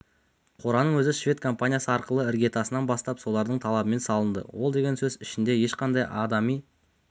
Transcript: қораның өзі швед компаниясы арқылы іргетасынан бастап солардың талабымен салынды ол деген сөз ішінде ешқандай адами